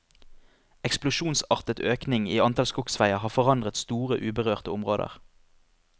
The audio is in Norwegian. Eksplosjonsartet økning i antall skogsveier har forandret store uberørte områder.